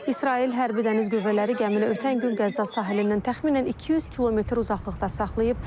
İsrail hərbi dəniz qüvvələri gəmini ötən gün Qəzza sahilindən təxminən 200 km uzaqlıqda saxlayıb.